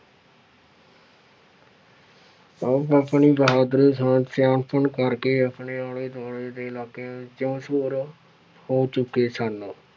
ਆਪ ਆਪਣੀ ਬਹਾਦਰੀ ਸ ਸਿਆਣਪੁਣ ਕਰਕੇ ਆਪਣੇ ਆਲੇ ਦੁਆਲੇ ਦੇ ਇਲਾਕਿਆਂ ਵਿੱਚ ਮਸ਼ਹੂਰ ਹੋ ਚੁੱਕੇ ਸਨ।